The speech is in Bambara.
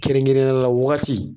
Kɛrɛnkɛrɛnnenya la wagati